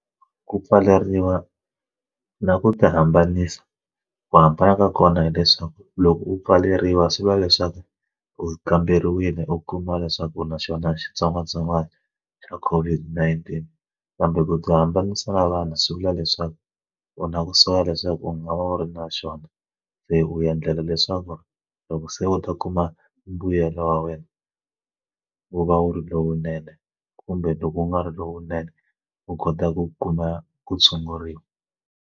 Ku pfaleriwa na ku ti hambanisa ku hambana ka kona hileswaku loko u pfaleriwa swi vula leswaku u kamberiwile u kuma leswaku naxona xitsongwatsongwana xa COVID-19 kambe ku ti hambanisa na vanhu swi vula leswaku u na kusuhi leswaku u nga va wu ri na xona se u endlela leswaku loko se u ta kuma mbuyelo wa wena wu va wu ri lowunene kumbe loko u nga ri lowunene u kota ku kuma ku tshunguriwa.